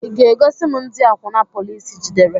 Ị ga-egosi m ndị akwuna polici jidere?